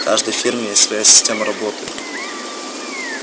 в каждой фирме есть своя система работы